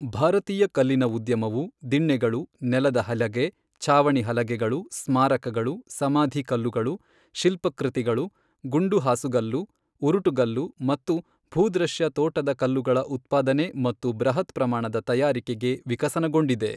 ಭಾರತೀಯ ಕಲ್ಲಿನ ಉದ್ಯಮವು ದಿಣ್ಣೆಗಳು, ನೆಲದ ಹಲಗೆ, ಛಾವಣಿ ಹಲಗೆಗಳು, ಸ್ಮಾರಕಗಳು, ಸಮಾಧಿ ಕಲ್ಲುಗಳು, ಶಿಲ್ಪಕೃತಿಗಳು, ಗುಂಡು ಹಾಸುಗಲ್ಲು, ಉರುಟುಗಲ್ಲು ಮತ್ತು ಭೂದೃಶ್ಯ ತೋಟದ ಕಲ್ಲುಗಳ ಉತ್ಪಾದನೆ ಮತ್ತು ಬೃಹತ್ ಪ್ರಮಾಣದ ತಯಾರಿಕೆಗೆ ವಿಕಸನಗೊಂಡಿದೆ.